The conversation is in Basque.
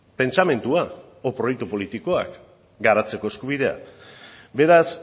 pentsamendua edo proiektu politikoak garatzeko eskubidea beraz